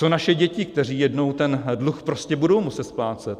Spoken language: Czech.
Co naše děti, které jednou ten dluh prostě budou muset splácet?